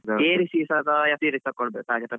S series ತಗೋಬೇಕು ಅಂತಾರೆ.